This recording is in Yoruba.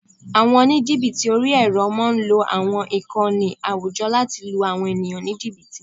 Àwọn oníjìbìtì orí-ẹrọ máa ń lo àwọn ìkànnì àwùjọ láti lu àwọn ènìyàn ní jìbìtì